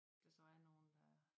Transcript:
Der så er nogen der